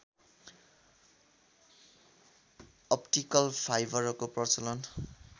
optical फाइबरको प्रचलन